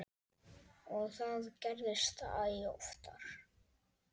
Og það gerðist æ oftar.